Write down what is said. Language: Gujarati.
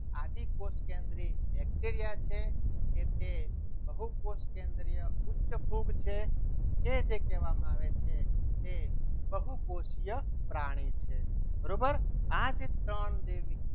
આદિ કોષ કેન્દ્રી bacteria છે કે એ બહુ કોષ કેન્દ્રીય ફૂગ છે તે જે કહેવામાં આવે છે. જે બહુકોષીય પ્રાણી છે બરોબર આ જે ત્રણ જે